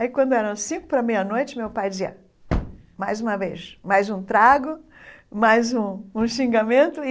Aí quando eram cinco para meia-noite, meu pai dizia, mais uma vez, mais um trago, mais um um xingamento e